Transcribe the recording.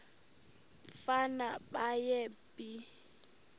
umfana baye bee